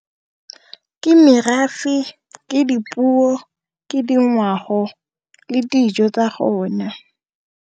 Ke merafe, ke dipuo, ke dingwao le dijo tsa gona.